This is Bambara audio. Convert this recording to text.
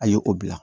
A ye o bila